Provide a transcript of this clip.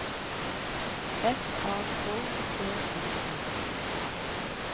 F A K T U M